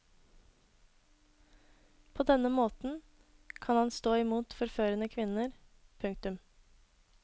På denne måten kan han stå imot forførende kvinner. punktum